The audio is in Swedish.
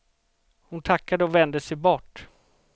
Hon tackade och vände sig bort.